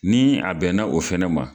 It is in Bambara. Ni a bɛnna o fɛnɛ ma